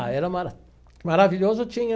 Ah era ma, maravilhoso tinha...